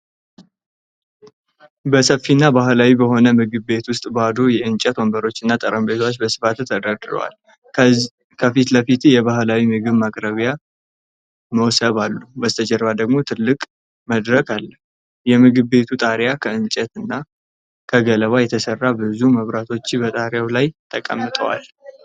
በሰፊና ባህላዊ በሆነ ምግብ ቤት ውስጥ ባዶ የእንጨት ወንበሮችና ጠረጴዛዎች በስፋት ተደርድረዋል። ከፊት ለፊት የባህላዊ ምግብ ማቅረቢያ ሞስብ አሉ፤ በስተጀርባ ደግሞ ትልቅ መድረክ አለ። የምግብ ቤቱ ጣሪያ ከእንጨትና ከገለባ የተሰራ ብዙ መብራቶች በጣሪያው ላይ ተሰቅለዋል።